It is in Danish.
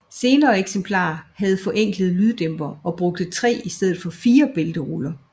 Senere eksemplarer havde forenklede lyddæmpere og brugte 3 i stedet for 4 bælteruller